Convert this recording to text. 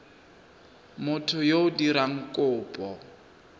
motho yo o dirang kopo